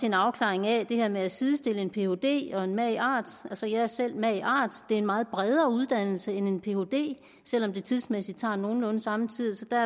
en afklaring af det her med at sidestille en phd og en magart altså jeg er selv magart det er en meget bredere uddannelse end en phd selv om de tidsmæssigt tager nogenlunde samme tid så der